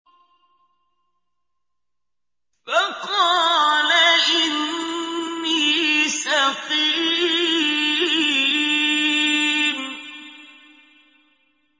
فَقَالَ إِنِّي سَقِيمٌ